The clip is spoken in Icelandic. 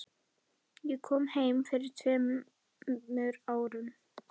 Ég kom heim fyrir tveimur árum.